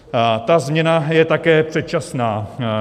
Ta změna je také předčasná.